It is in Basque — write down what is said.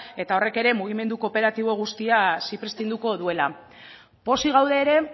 eta horrek ere mugimendu kooperatibo guztia zipriztinduko duela pozik gaude ere